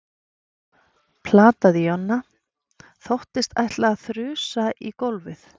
plataði Jonna. þóttist ætla að þrusa í gólfið.